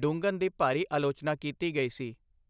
Dungan ਦੀ ਭਾਰੀ ਆਲੋਚਨਾ ਕੀਤੀ ਗਈ ਸੀ।